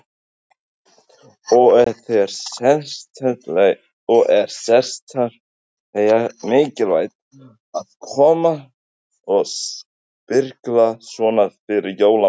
Hafsteinn: Og er sérstaklega mikilvægt að koma og sprikla svona eftir jólamatinn?